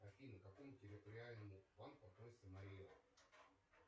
афина к какому территориальному банку относится марий эл